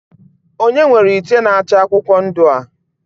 onye nwere ite nacha akwukwo ndu a?